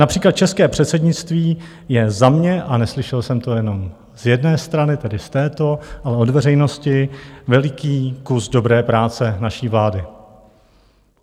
Například české předsednictví je za mě, a neslyšel jsem to jenom z jedné strany, tedy z této, ale od veřejnosti, veliký kus dobré práce naší vlády.